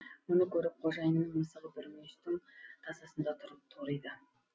мұны көріп қожайынынң мысығы бір мүйістің тасасында тұрып ториды